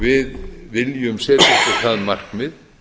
við viljum setja okkur það markmið